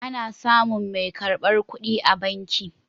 Ana samun mai karbar kuɗi a banki.